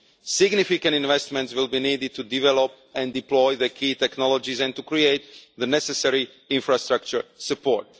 Significant investments will be needed to develop and deploy the key technologies and to create the necessary infrastructure support.